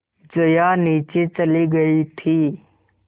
जया नीचे चली गई थी